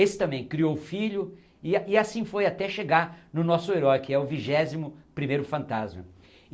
Esse também criou filho e a assim foi até chegar no nosso herói, que é o vigésimo primeiro fantasma.